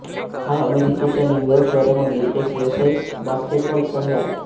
हा अमेरिकेच्या न्यूयॉर्क शहरामधील एक व्यावसायिक बास्केटबॉल संघ आहे